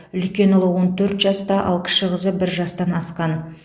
үлкен ұлы он төрт жаста ал кіші қызы бір жастан асқан